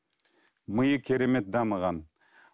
миы керемет дамыған